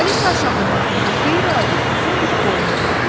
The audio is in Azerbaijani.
Alisa aşağı baxdı və qeyri-adi uzun bir boyun gördü.